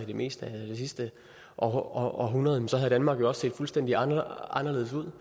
det meste af det sidste århundrede så havde danmark jo også set fuldstændig anderledes ud